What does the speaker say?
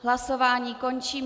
Hlasování končím.